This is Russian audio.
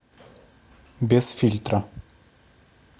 без фильтра